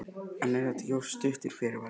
En er þetta ekki of stuttur fyrirvari?